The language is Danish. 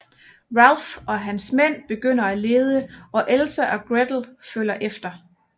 Ralf og hans mænd begynder at lede og Elsa og Gretel følger efter